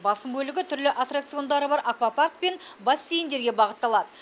басым бөлігі түрлі аттракциондары бар аквапарк пен бассейндерге бағытталады